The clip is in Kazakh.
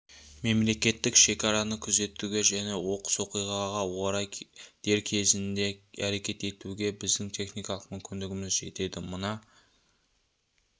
мемлекеттік шекараны күзетуге және оқыс оқиғаға орай дер кезінде әрекет етуге біздің техникалық мүмкіндігіміз жетеді мына